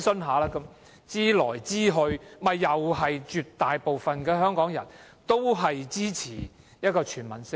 重複諮詢，最終絕大部分香港人也支持全民退保的方案。